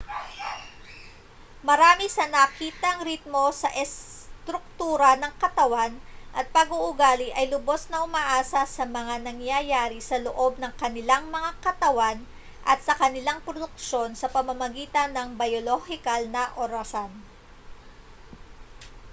marami sa nakitang ritmo sa estruktura ng katawan at pag-uugali ay lubos na umaasa sa mga nangyayari sa loob ng kanilang mga katawan at sa kanilang produksyon sa pamamagitan ng biyolohikal na orasan